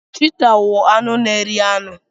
Chiita wụ anụ n'eri anụ.